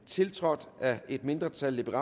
tiltrådt af et mindretal